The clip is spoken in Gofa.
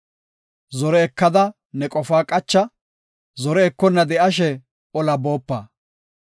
Zore ekada ne qofaa qacha; zore ekonna de7ashe ola boopa.